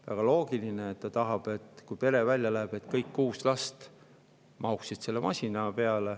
Väga loogiline, ta ju tahab, et kui pere välja läheb, siis kõik kuus last mahuksid masina peale.